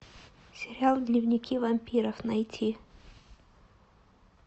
сериал дневники вампиров найти